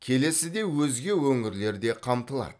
келесі де өзге өңірлер де қамтылады